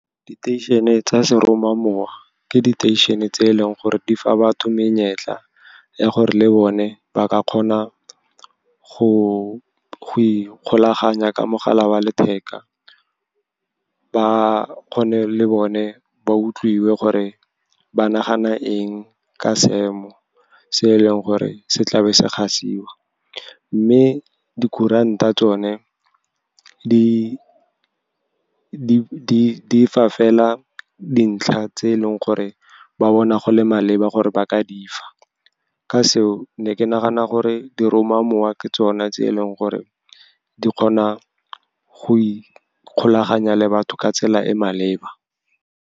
Diteišene tsa seromamowa ke diteišene tse e leng gore di fa batho menyetla ya gore le bone ba ka kgona go ikgolaganya ka mogala wa letheka, ba kgone le bone ba utlwiwe gore ba nagana eng ka seemo se eleng gore se tlabe se gasiwa. Mme dikuranta tsone di fa fela dintlha tse e leng gore ba bona go le maleba gore ba ka di fa. Ka seo, ne ke nagana gore diromamowa ke tsona tse e leng gore di kgona go ikgolaganya le batho ka tsela e maleba.